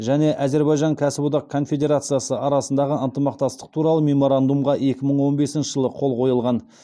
және әзербайжан кәсіподақ конфедерациясы арасындағы ынтымақтастық туралы меморандумға екі мың он бесінші жылы қол қойылған